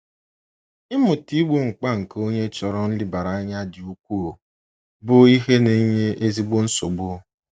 Ịmụta igbo mkpa nke onye chọrọ nlebara anya dị ukwuu bụ ihe na-enye ezigbo nsogbu.